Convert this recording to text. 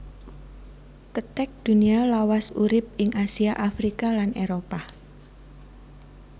Kethek Dunia lawas urip ing Asia Afrika lan Éropah